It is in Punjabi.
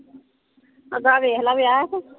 ਅੱਗਾ ਵੇਖਲਾ ਵਿਆਹ ਤੂੰ।